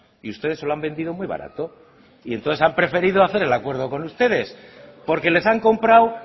y ustedes se lo han vendido muy barato y entonces han preferido hacer el acuerdo con ustedes porque les han comprado